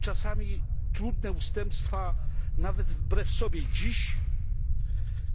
Czasami trudne ustępstwa nawet wbrew sobie i dziś